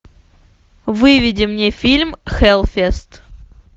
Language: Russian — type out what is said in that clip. выведи мне фильм хэллфест